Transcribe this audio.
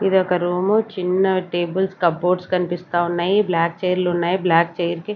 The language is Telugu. ఇదొక రూము చిన్న టేబుల్స్ కబోర్డ్స్ కనిపిస్తా ఉన్నాయి బ్లాక్ చైర్లు ఉన్నాయి బ్లాక్ చైర్ కి .